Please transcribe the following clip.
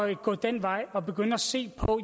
at gå den vej og begynde at se på